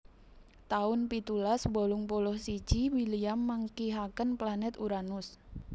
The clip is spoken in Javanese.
taun pitulas wolung puluh siji William manggihaken planèt Uranus